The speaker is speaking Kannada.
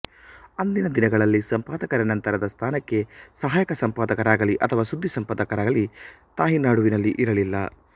ಅಂದಿನ ದಿನಗಳಲ್ಲಿ ಸಂಪಾದಕರ ನಂತರದ ಸ್ಥಾನಕ್ಕೆ ಸಹಾಯಕ ಸಂಪಾದಕರಾಗಲಿ ಅಥವಾ ಸುದ್ದಿ ಸಂಪಾದಕರಾಗಲಿ ತಾಯಿನಾಡುವಿನಲ್ಲಿ ಇರಲಿಲ್ಲ